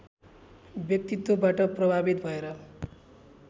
व्यक्तित्वबाट प्रभावित भएर